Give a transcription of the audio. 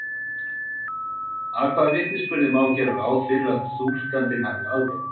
Að hvaða vitnisburði má gera ráð fyrir að túlkandinn hafi aðgang?